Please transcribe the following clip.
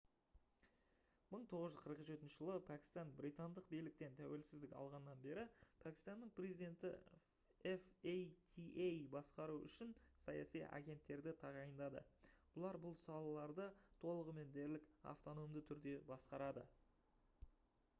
1947 жылда пәкістан британдық биліктен тәуелсіздік алғаннан бері пәкістанның президенті fata басқару үшін «саяси агенттерді» тағайындады. бұлар бұл салаларды толығымен дерлік автономды түрде басқарады